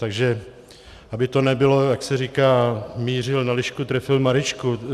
Takže aby to nebylo, jak se říká, mířil na lišku, trefil Maryšku.